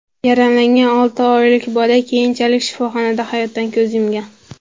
Yaralangan olti oylik bola keyinchalik shifoxonada hayotdan ko‘z yumgan.